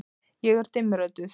Ég er dimmrödduð.